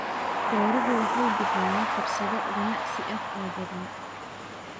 Beeruhu waxay bixiyaan fursado ganacsi oo badan.